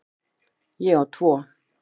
Ég á tvo.